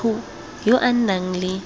motho yo o nang le